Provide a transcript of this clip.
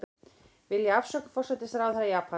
Vilja afsögn forsætisráðherra Japans